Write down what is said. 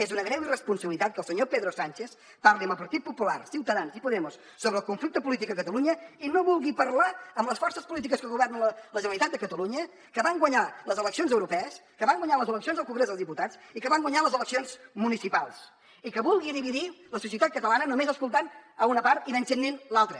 és una greu irresponsabilitat que el senyor pedro sánchez parli amb el partit popular ciutadans i podemos sobre el conflicte polític a catalunya i no vulgui parlar amb les forces polítiques que governen la generalitat de catalunya que van guanyar les eleccions europees que van guanyar els eleccions al congrés dels diputats i que van guanyar les eleccions municipals i que vulgui dividir la societat catalana només escoltant ne una part i menystenint l’altra